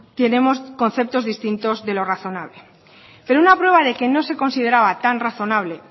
tenemos conceptos distintos de lo razonable pero una prueba de que no se consideraba tan razonable